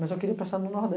Mas eu queria passar no